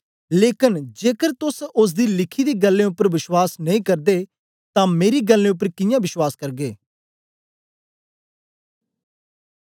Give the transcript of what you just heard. लेकन जेकर तोस ओसदी लिखी दी गल्लें उपर बश्वास नेई करदे तां मेरी गल्लें उपर कियां बश्वास करगे